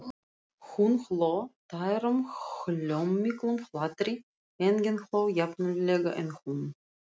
Hún hló, tærum, hljómmiklum hlátri, enginn hló jafninnilega og hún.